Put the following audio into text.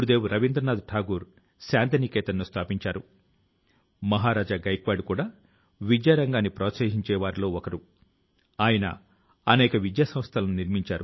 అదే విధం గా మీరు మీ నగరాల లో గ్రామాల లో స్వాతంత్ర్య ఉద్యమాని కి సంబంధించినటువంటి ప్రత్యేక మైన అంశాలను కూడా ప్రజల ముందుకు తీసుకు రావచ్చును